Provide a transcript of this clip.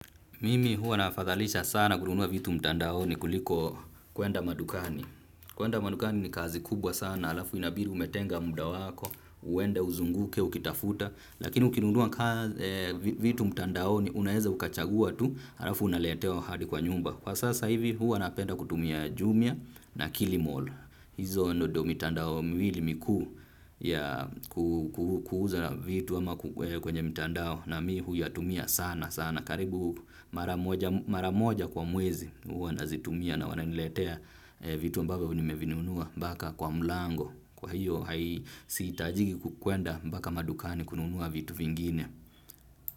Mimi huwa nafadhalisha sana kununuwa vitu mtandaoni kuliko kuenda madukani. Kuenda madukani ni kazi kubwa sana halafu inabidi umetenga muda wako. Uende uzunguke ukitafuta. Lakini ukinunua vitu mtandaoni unaweza ukachagua tu. Halafu unaletewa hadi kwa nyumba. Kwa sasa hivi huwa napenda kutumia jumia na killmall. Hizo ndo mitandao miwili mikuu ya kuuza vitu ama kwenye mtandao. Na mi huyatumia sana sana karibu mara moja kwa mwezi, huwa nazitumia na wananiletea vitu ambavyo nimevinunua mpaka kwa mlango kwa hiyo hai sitajiki kukwenda mpaka madukani kununua vitu vingine.